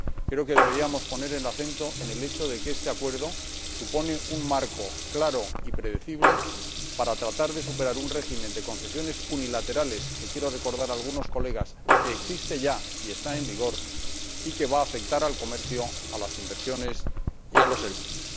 Creo que deberíamos poner el acento en el hecho de que este Acuerdo supone un marco claro y predecible para tratar de superar un régimen de concesiones unilaterales, que quiero recordar a algunos colegas que existe ya y está en vigor y que va a afectar al comercio, a las inversiones y a los servicios.